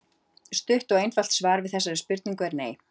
Stutt og einfalt svar við þessari spurningu er nei.